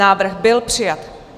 Návrh byl přijat.